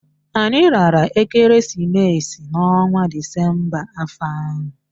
Anyị lara ekereesimesi n'ọnwa disemba afọ ahụ